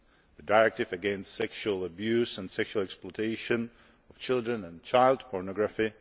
the Directive against Sexual Abuse and Sexual Exploitation of Children and Child Pornography